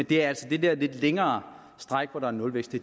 det er altså det der lidt længere stræk hvor der er nulvækst